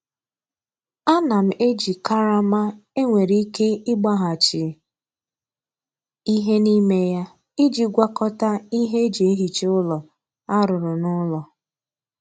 Ana m eji karama e nwere ike ịgbaghachi ihe n'ime ya iji gwakọta ihe e ji ehicha ụlọ a rụrụ n'ụlọ.